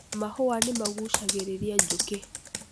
Mahũa nĩmagucagĩrĩria njũkĩ.